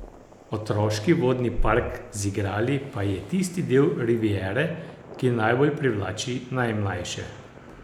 Otroški vodni park z igrali pa je tisti del riviere, ki najbolj privlači najmlajše.